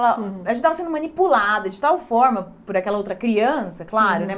A gente tava sendo manipulada de tal forma por aquela outra criança, claro, né?